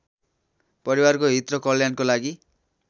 परिवारको हित र कल्याणको लागि